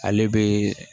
Ale bɛ